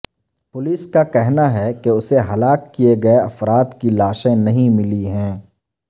police کا کہنا ہے کہ اسے ہلاک کیے گئے افراد کی لاشیں نہیں ملی ہیں